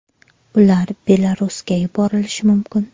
Ular Belarusga yuborilishi mumkin.